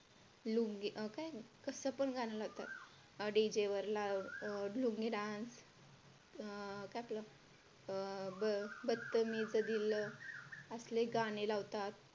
काय कसं पण गाणं लावतात D. J वरला अं लुंगी DANCE अं काय आपलं अं बत्तमीज दिल असले गाणे लावतात.